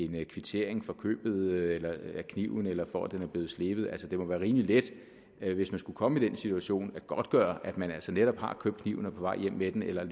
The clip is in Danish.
kvittering for købet af kniven eller for at den er blevet slebet altså det må være rimelig let hvis man skulle komme i den situation at godtgøre at man altså netop har købt kniven og er på vej hjem med den eller at